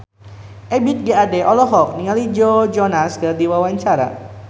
Ebith G. Ade olohok ningali Joe Jonas keur diwawancara